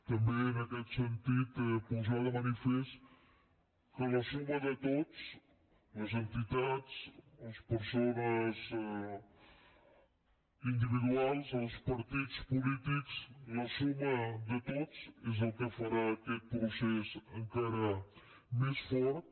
també en aquest sentit posar de manifest que la suma de tots les entitats les persones individuals els partits polítics la suma de tots és el que farà aquest procés encara més fort